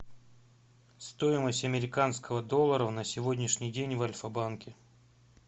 стоимость американского доллара на сегодняшний день в альфа банке